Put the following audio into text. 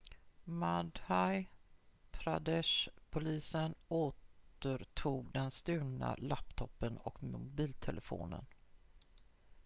madhya pradesh-polisen återtog den stulna laptopen och mobiltelefonen